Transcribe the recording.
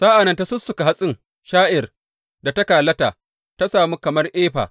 Sa’an nan ta sussuka hatsin sha’ir da ta kalata ta sami kamar efa.